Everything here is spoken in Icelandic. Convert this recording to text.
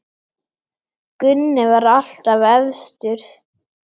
Gunni var alltaf efstur.